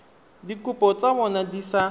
dikopo tsa bona di sa